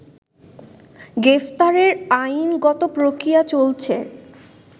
গ্রেফতারের আইনগত প্রক্রিয়া চলছে